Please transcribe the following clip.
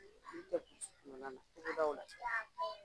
Ni tɛ Polisiw kuma kan na, I bɛ da ola?